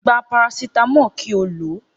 Gba parasitamọ kí o ló.